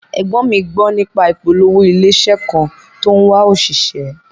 Ẹ̀gbọ́n mi gbó nípa ìpolówó ilé iṣẹ́ kan tó ń wá òṣìṣẹ́